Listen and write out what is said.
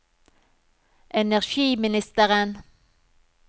energiministeren